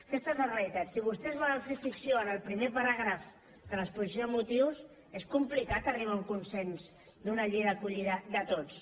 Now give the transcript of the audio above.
aquesta és la realitat si vostès volen fer ficció en el primer paràgraf de l’exposició de motius és complicat arribar a un consens d’una llei d’acollida de tots